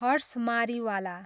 Harsh Mariwala